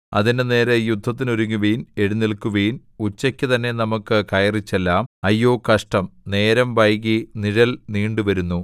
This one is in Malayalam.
അതിന്റെ നേരെ യുദ്ധത്തിനൊരുങ്ങുവിൻ എഴുന്നേല്ക്കുവിൻ ഉച്ചയ്ക്കു തന്നെ നമുക്കു കയറിച്ചെല്ലാം അയ്യോ കഷ്ടം നേരം വൈകി നിഴൽ നീണ്ടുവരുന്നു